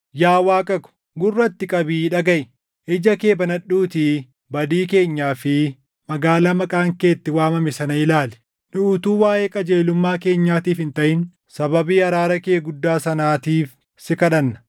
Yaa Waaqa ko, gurra itti qabii dhagaʼi; ija kee banadhuutii badii keenyaa fi magaalaa Maqaan kee ittiin waamame sana ilaali. Nu utuu waaʼee qajeelummaa keenyaatiif hin taʼin sababii araara kee guddaa sanaatiif si kadhanna.